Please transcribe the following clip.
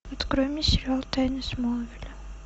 открой мне сериал тайны смолвиля